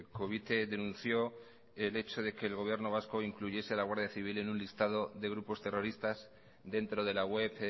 covite denunció el hecho de que el gobierno vasco incluyese a la guardia civil en un listado de grupos terroristas dentro de la web